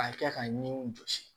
A kɛ ka ɲininiw jɔsi